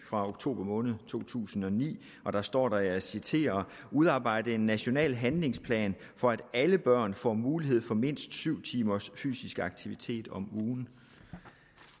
fra oktober måned to tusind og ni og der står der og jeg citerer … udarbejde en national handlingsplan for at alle børn får mulighed for mindst syv timers fysisk aktivitet om ugen